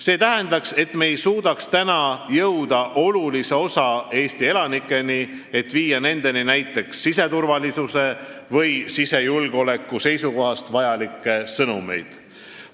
See tähendaks, et me ei suudaks enam jõuda olulise osani Eesti elanikest, et viia nendeni näiteks siseturvalisuse või sisejulgeoleku seisukohast vajalikke sõnumeid.